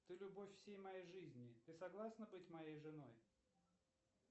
ты любовь всей моей жизни ты согласна быть моей женой